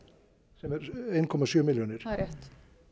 sem er eitt komma sjö milljónir það er rétt